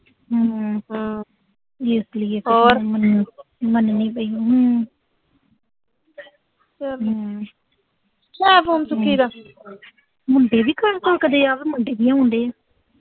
ਮੈਨੂੰ